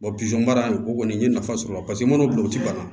baara in o kɔni n ye nafa sɔrɔ a la paseke n mana don u ti bana